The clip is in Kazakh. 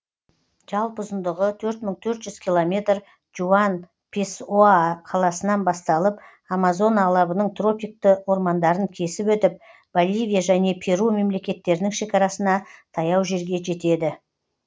жалпы ұзындығы төрт мың төрт жүз километр жуан песоа қаласынан басталып амазона алабының тропикті ормандарын кесіп өтіп боливия және перу мемлекеттерінің шекарасына таяу жерге жетеді